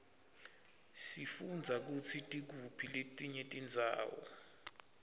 sifundza kutsi tikuphi letinye tindzawo